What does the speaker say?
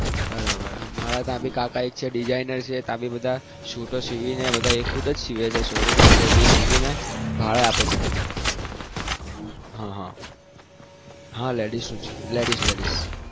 બરાબર છે અમારે તો બીજા શુટો સીવીને આપે છે હા ladies નું જ